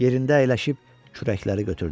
Yerində əyləşib kürəkləri götürdü.